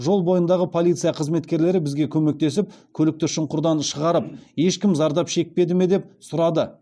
жол бойындағы полиция қызметкерлері бізге көмектесіп көлікті шұңқырдан шығарып ешкім зардап шекпеді ме деп сұрады